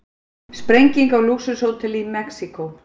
Sprenging á lúxushóteli í Mexíkó